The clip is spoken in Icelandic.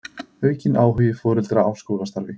Aukinn áhugi foreldra á skólastarfi